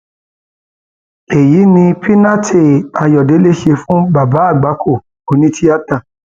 èyí lohun tí piñate ayọdẹlẹ ṣe fún bàbá àgbákò onítìata